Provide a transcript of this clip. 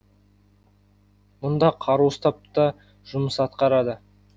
мұнда қару ұстап та жұмыс атқарады